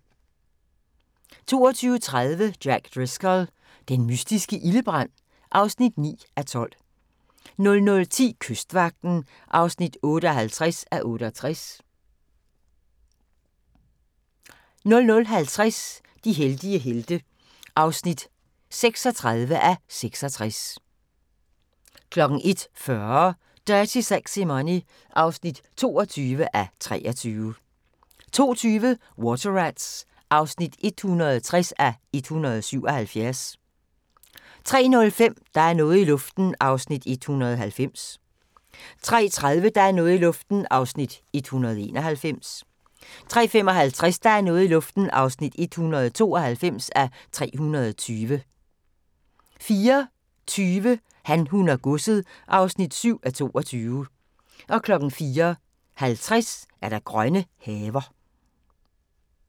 22:30: Jack Driscoll – den mystiske ildebrand (9:12) 00:10: Kystvagten (58:68) 00:50: De heldige helte (36:66) 01:40: Dirty Sexy Money (22:23) 02:20: Water Rats (160:177) 03:05: Der er noget i luften (190:320) 03:30: Der er noget i luften (191:320) 03:55: Der er noget i luften (192:320) 04:20: Han, hun og godset (7:22) 04:50: Grønne haver